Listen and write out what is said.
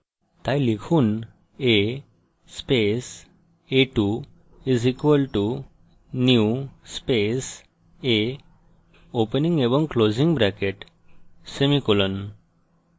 তাই লিখুন a space a2 = new space a opening এবং closing brackets semicolon